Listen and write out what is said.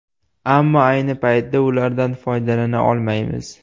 Ammo ayni paytda ulardan foydalana olmaymiz.